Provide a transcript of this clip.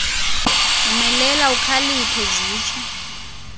yomelela ukhaliphe zitsho